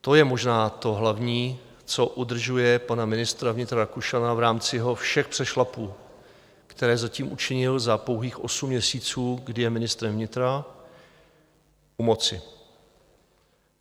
To je možná to hlavní, co udržuje pana ministra vnitra Rakušana v rámci jeho všech přešlapů, které zatím učinil za pouhých osm měsíců, kdy je ministrem vnitra, u moci.